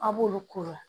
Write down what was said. A' b'olu kuru la